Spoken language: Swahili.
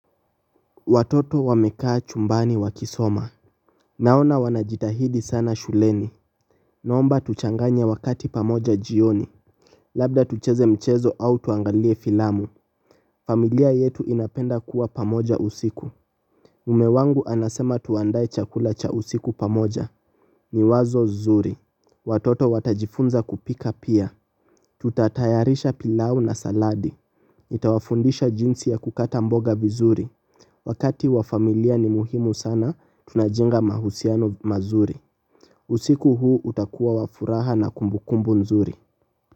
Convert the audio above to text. Watoto wamekaa chumbani wakisoma. Naona wanajitahidi sana shuleni. Naomba tuchanganye wakati pamoja jioni. Labda tucheze mchezo au tuangalie filamu. Familia yetu inapenda kuwa pamoja usiku mume wangu anasema tuandae chakula cha usiku pamoja. Ni wazo zuri, watoto watajifunza kupika pia Tutatayarisha pilau na saladi. Nitawafundisha jinsi ya kukata mboga vizuri. Wakati wa familia ni muhimu sana, tunajenga mahusiano mazuri. Usiku huu utakuwa wafuraha na kumbukumbu nzuri.